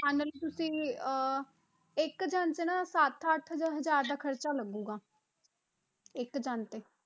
ਮੰਨ ਲਓ ਤੁਸੀਂ ਅਹ ਇੱਕ ਜਾਣੇ ਤੇ ਨਾ ਸੱਤ ਅੱਠ ਹਜ਼ਾਰ ਦਾ ਖ਼ਰਚਾ ਲੱਗੇਗਾ ਇੱਕ ਜਾਣੇ ਤੇੇ।